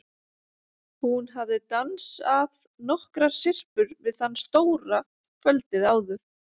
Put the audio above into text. Hún hafði dans- að nokkrar syrpur við þann stóra kvöldið áður.